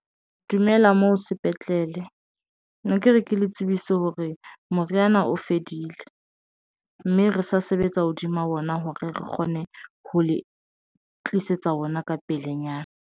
Dumela moo sepetlele ne ke re ke le tsebise hore moriana o fedile mme re sa sebetsa hodima ona hore re kgone ho le tlisetsa ona ka pelenyana.